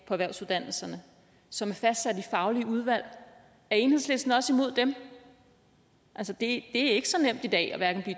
erhvervsuddannelserne som er fastsat af faglige udvalg er enhedslisten også imod dem det er ikke så nemt i dag hverken at